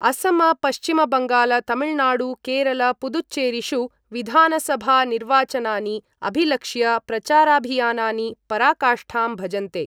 असम पश्चिमबंगाल तमिलनाडु केरल पुदुचेरीषु विधानसभा निर्वाचनानि अभिलक्ष्य प्रचाराभियानानि पराकाष्ठां भजन्ते।